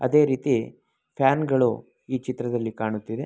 ಅದೇ ರೀತಿ ಫ್ಯಾನ್ ಗಳು ಈ ಚಿತ್ರದಲ್ಲಿ ಕಾಣುತ್ತಿವೆ.